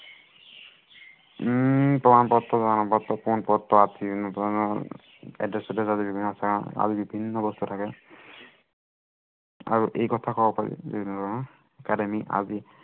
উম প্ৰমাণ পত্ৰ, পৰিচয় পত্ৰ, বিভিন্ন ধৰনৰ আৰু বিভিন্ন বস্তু থাকে আৰু এই কথা কব পাৰি আদি